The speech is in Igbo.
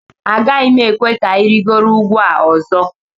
Agaghị m ekwe ka ị rịgoro ugwu a ọzọ